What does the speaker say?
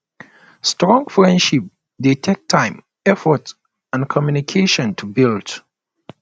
strong friendship dey take time effort and communication to build